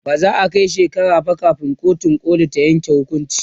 ba za'a Kai shekara ba kamin kotun koli ta Yanke hukunci